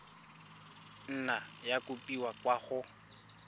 nna ya kopiwa kwa go